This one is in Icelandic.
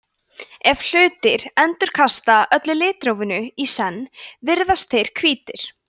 ef hlutir endurkasta öllu litrófinu í senn virðast þeir hvítir